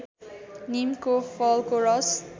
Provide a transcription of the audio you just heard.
नीमको फलको रस